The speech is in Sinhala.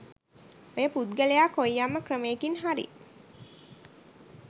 ඔය පුද්ගලයා කොයියම්ම ක්‍රමේකින් හරි